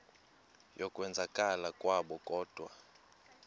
yokwenzakala kwabo kodwa